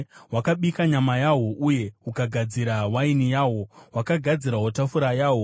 Hwakabika nyama yahwo; uye hukagadzira waini yahwo; hwakagadzirawo tafura yahwo.